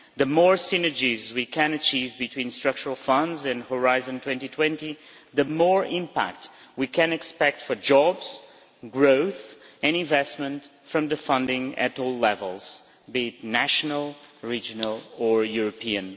The more synergies we can achieve between structural funds and Horizon 2020, the more impact we can expect for jobs, growth and investment from funding at all levels, be it national, regional or European.